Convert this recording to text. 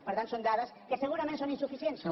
per tant són dades que segurament són insuficients però